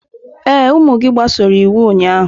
Ee, ụmụ gị gbasoro iwu ụnyaahụ.